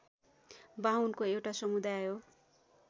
बाहुनको एउटा समुदाय हो